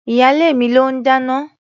Ìyálé mi ló ń dáná.